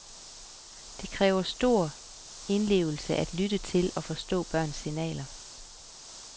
Det kræver stor indlevelse at lytte til og forstå børns signaler.